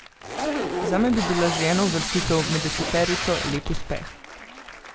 Zame bi bila že ena uvrstitev med deseterico lep uspeh.